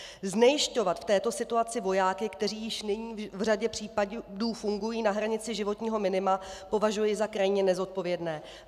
Znejisťovat v této situaci vojáky, kteří již nyní v řadě případů fungují na hranici životního minima, považuji za krajně nezodpovědné.